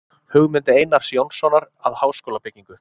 Hugmynd Einars Jónssonar að háskólabyggingu.